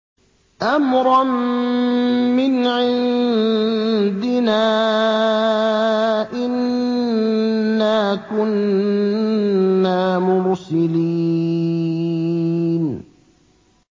أَمْرًا مِّنْ عِندِنَا ۚ إِنَّا كُنَّا مُرْسِلِينَ